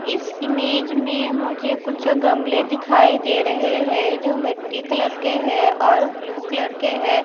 इस इमेज में मुझे कुछ गमले दिखाई दे रहे है जो मिट्टी कलर के है और ब्लू कलर के है।